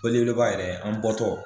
kɔli belebeleba yɛrɛ an bɔtɔ.